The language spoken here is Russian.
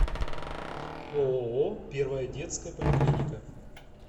ооо первая детская поликлиника